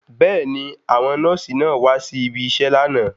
Bẹ́ẹ̀ni, àwọn nọ́ọ̀sì náà wá si ibiṣẹ́ lánàá.